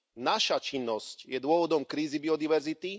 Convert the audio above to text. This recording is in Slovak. Naša činnosť je dôvodom krízy biodiverzity.